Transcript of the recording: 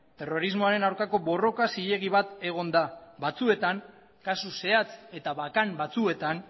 terrorismoaren aurkako borroka zilegi bat egon da batzuetan kasu zehatz eta bakan batzuetan